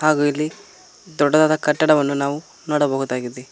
ಹಾಗು ಇಲ್ಲಿ ದೊಡ್ಡದಾದ ಕಟ್ಟಡವನ್ನು ನಾವು ನೋಡಬಹುದಾಗಿದೆ.